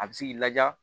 A bɛ se k'i laja